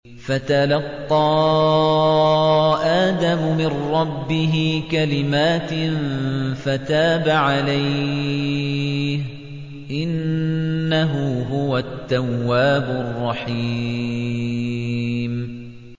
فَتَلَقَّىٰ آدَمُ مِن رَّبِّهِ كَلِمَاتٍ فَتَابَ عَلَيْهِ ۚ إِنَّهُ هُوَ التَّوَّابُ الرَّحِيمُ